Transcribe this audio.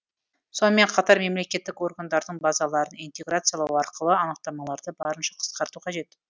сонымен қатар мемлекеттік органдардың базаларын интеграциялау арқылы анықтамаларды барынша қысқарту қажет